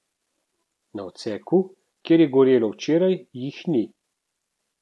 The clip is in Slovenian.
Na odseku, kjer je gorelo včeraj, jih ni.